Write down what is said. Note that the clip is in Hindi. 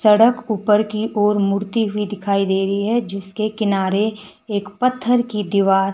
सड़क ऊपर की ओर मुड़ती हुई दिखाई दे रही है जिसके किनारे एक पत्थर की दीवार--